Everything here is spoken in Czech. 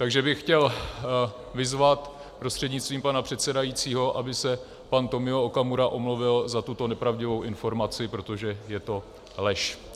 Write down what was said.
Takže bych chtěl vyzvat prostřednictvím pana předsedajícího, aby se pan Tomio Okamura omluvil za tuto nepravdivou informaci, protože je to lež.